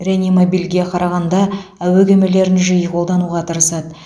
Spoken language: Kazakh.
реанимобильге қарағанда әуе кемелерін жиі қолдануға тырысады